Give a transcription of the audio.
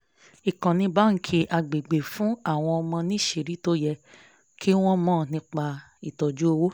ìkọ́ni báńkì agbègbè ń fún àwọn ọmọ níṣìírí tó yẹ kí wọ́n mọ nípa tọ́jú owó